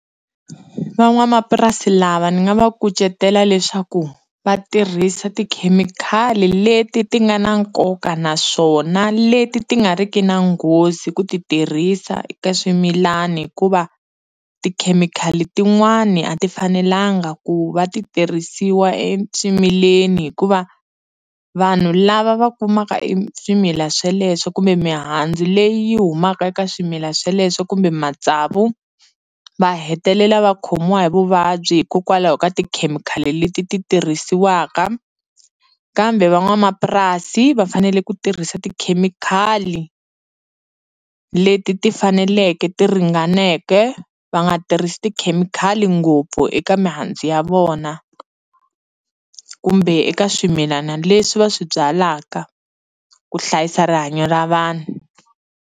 Van'wamapurasi lava ni nga va kucetela leswaku va tirhisa tikhemikhali leti ti nga na nkoka naswona leti ti nga ri ki na nghozi ku ti tirhisa eka swimilani hikuva tikhemikhali tin'wani a ti fanelanga ku va ti tirhisiwa eswimileni hikuva vanhu lava va kumaka eswimila sweleswo kumbe mihandzu leyi yi humaka eka swimila sweleswo kumbe matsavu va hetelela va khomiwa hi vuvabyi hikokwalaho ka tikhemikhali leti ti tirhisiwaka kambe van'wamapurasi va fanele ku tirhisa tikhemikhali leti ti faneleke ti ringaneke va nga tirhisi tikhemikhali ngopfu eka mihandzu ya vona kumbe eka swimilana leswi va swi byalaka ku hlayisa rihanyo ra vanhu.